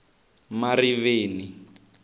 mariveni